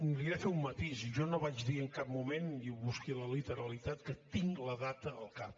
li he de fer un matís i jo no vaig dir en cap moment i ho busqui en la literalitat que tinc la data al cap